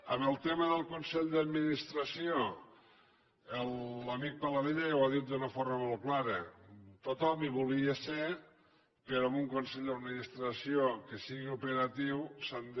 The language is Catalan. en el tema del consell d’administració l’amic paladella ja ho ha dit d’una forma molt clara tothom hi volia ser però en un consell d’administració que sigui operatiu s’han de